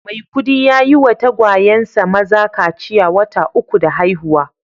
Maikudi ya yi wa tagwayensa maza kaciya wata uku da haihuwa